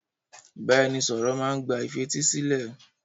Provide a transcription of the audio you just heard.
Ìbáraẹnisọ̀rọ̀ má n gba ìfetísílẹ̀.